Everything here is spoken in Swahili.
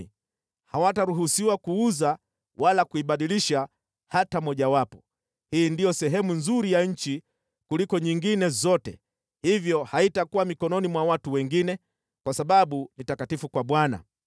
Hawataruhusiwa kuuza wala kuibadilisha hata mojawapo. Hii ndiyo sehemu nzuri ya nchi kuliko nyingine zote, hivyo haitakuwa mikononi mwa watu wengine, kwa sababu ni takatifu kwa Bwana .